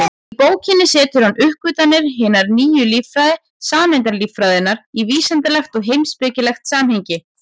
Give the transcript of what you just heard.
Í bókinni setur hann uppgötvanir hinnar nýju líffræði, sameindalíffræðinnar, í vísindalegt og heimspekilegt samhengi.